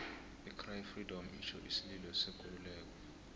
i cry freedom itjho isililo sekululeko